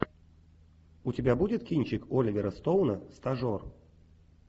у тебя будет кинчик оливера стоуна стажер